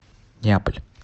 неаполь